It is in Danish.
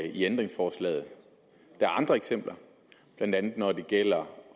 ændringsforslaget der er andre eksempler blandt andet når det gælder